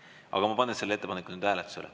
Aga ma panen selle ettepaneku nüüd hääletusele.